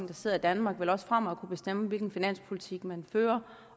der sidder i danmark vil også fremover kunne bestemme hvilken finanspolitik man fører